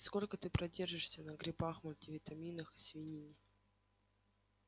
сколько ты продержишься на грибах мультивитаминах и свинине